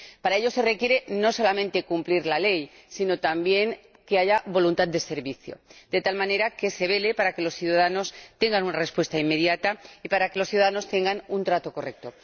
Para ello se requiere no solamente cumplir la ley, sino también que haya voluntad de servicio, de tal manera que se vele para que los ciudadanos tengan una respuesta inmediata y para que los ciudadanos tengan un trato correcto.